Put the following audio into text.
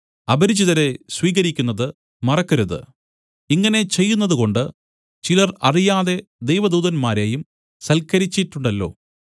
അപരിചിതരെ സ്വീകരിക്കുന്നത് മറക്കരുത് ഇങ്ങനെ ചെയ്യുന്നതുകൊണ്ട് ചിലർ അറിയാതെ ദൈവദൂതന്മാരെയും സൽക്കരിച്ചിട്ടുണ്ടല്ലോ